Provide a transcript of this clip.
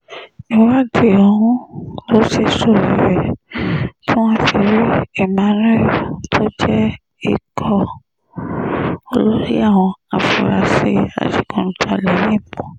ìwádìí ọ̀hún ló ṣèèsọ rere tí wọ́n fi rí emmanuel tó jẹ́ olórí ikọ̀ àwọn afurasí adigunjalè yìí mú